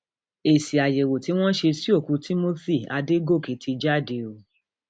èsì àyẹwò tí wọn ṣe sí òkú timothy adọgọkẹ ti jáde o